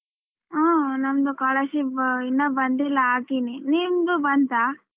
ಹ್ಮ್ ನಮ್ಗೆ scholarship ಇನ್ನ ಬಂದಿಲ್ಲ ಹಾಕಿನಿ ನಿಮ್ದು ಬಂತಾ?